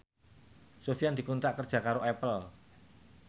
Sofyan dikontrak kerja karo Apple